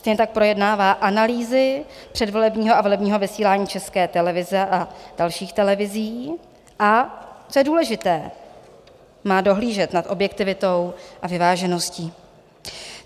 Stejně tak projednává analýzy předvolebního a volebního vysílání České televize a dalších televizí, a co je důležité, má dohlížet nad objektivitou a vyvážeností.